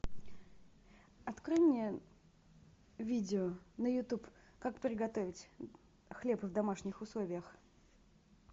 открой мне видео на ютуб как приготовить хлеб в домашних условиях